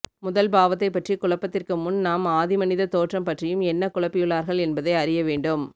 முதல் பாவத்தை பற்றி குழப்பத்திற்கு முன் நாம் ஆதி மனித தோற்றம் பற்றியும் என்ன குழப்பியுள்ளார்கள் என்பதை அறியவேண்டும்